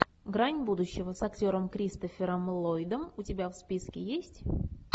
грань будущего с актером кристофером ллойдом у тебя в списке есть